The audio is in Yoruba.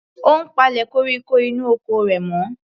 Ó ń palẹ̀ koríko inú oko rẹ̀ mọ́.